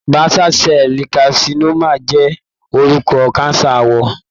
Basal cell carcinoma jẹ́ orúkọ cancer àwọ̀.